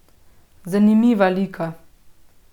Zanimiva lika.